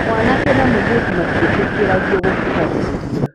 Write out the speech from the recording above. mwanake na mũirĩtu matiĩtĩkĩragio gũkuhanĩrĩria